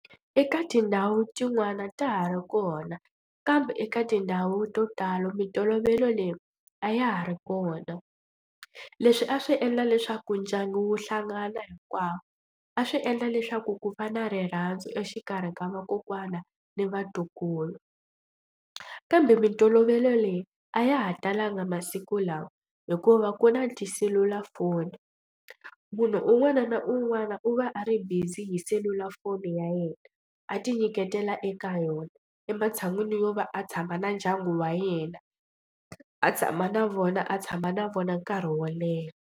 Eka tindhawu tin'wani ta ha ri kona kambe eka tindhawu to tala mintolovelo leyi a ya ha ri kona. Leswi a swi endla leswaku ndyangu wu hlangana hinkwawo a swi endla leswaku ku va na rirhandzu exikarhi ka vakokwana ni vatukulu kambe mintolovelo leyi a ya ha talanga masiku lawa hikuva ku na tiselulafoni. Munhu un'wana na un'wana u va a ri busy hi selulafoni ya yena a tinyiketela eka yona ematshan'wini yo va a tshama na ndyangu wa yena a tshama na vona a tshama na vona nkarhi wo leha.